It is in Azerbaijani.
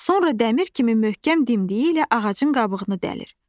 Sonra dəmir kimi möhkəm dimdiyi ilə ağacın qabığını dəlir.